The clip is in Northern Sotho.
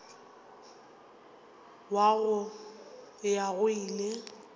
wa go ya go ile